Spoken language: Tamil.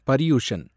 பர்யூஷன்